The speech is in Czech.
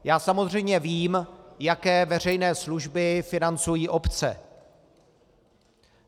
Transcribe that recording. Já samozřejmě vím, jaké veřejné služby financují obce.